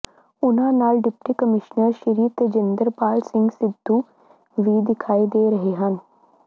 ਉਨਾ੍ਹਂ ਨਾਲ deputy commissioner Shri Tejinderpal Singh Sidhu ਵੀ ਦਿਖਾਈ ਦੇ ਰਹੇ ਹਨ